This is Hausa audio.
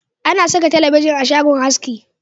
A na saka talabijin a shagon haski